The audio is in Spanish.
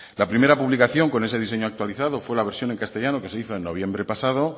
la primera publicación con ese diseño actualizado fue la versión en castellano que se hizo en noviembre pasado